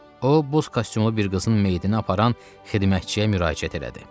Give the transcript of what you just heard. O, boz kostyumlu bir qızın meyitini aparan xidmətçiyə müraciət elədi.